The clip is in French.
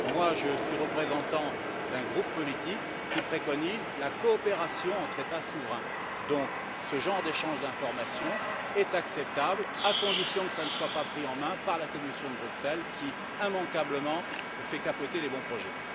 Je suis représentant d'un groupe politique qui préconise la coopération entre États souverains et j'estime donc que ce genre d'échange d'informations est acceptable à condition que cela ne soit pas pris en main par la Commission de Bruxelles qui, immanquablement, fait capoter les bons projets.